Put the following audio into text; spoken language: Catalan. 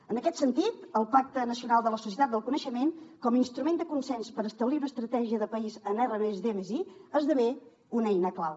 en aquest sentit el pacte nacional de la societat del coneixement com a instrument de consens per establir una estratègia de país en r+d+i esdevé una eina clau